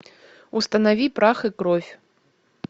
установи прах и кровь